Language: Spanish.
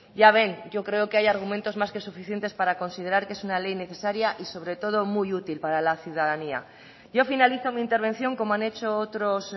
ya ven yo creo que hay argumentos más que suficientes para considerar que es una ley necesaria y sobre todo muy útil para la ciudadanía yo finalizo mi intervención como han hecho otros